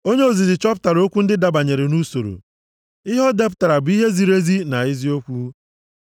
Onye ozizi chọpụtara okwu ndị dabanyere nʼusoro, ihe o depụtara bụ ihe ziri ezi na eziokwu.